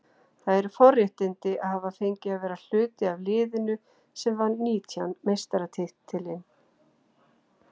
Það eru forréttindi að hafa fengið að vera hluti af liðinu sem vann nítjánda meistaratitilinn.